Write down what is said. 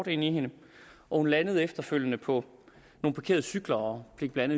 ind i hende og hun landede efterfølgende på nogle parkerede cykler og fik blandt